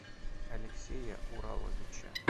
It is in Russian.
алексея ураловича